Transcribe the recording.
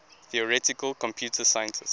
theoretical computer scientists